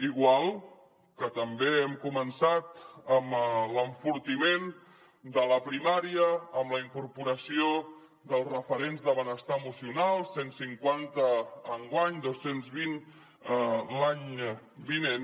igual que també hem començat amb l’enfortiment de la primària amb la incorporació dels referents de benestar emocional cent i cinquanta enguany dos cents i vint l’any vinent